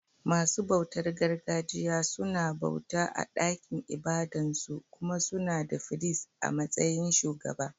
Masu bautar gargajiya suna bauta a ɗakin ibadan su, kuma suna da firist a matsayin shugaba.